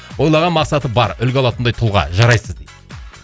ойлаған мақсаты бар үлгі алатындай тұлға жарайсыз дейді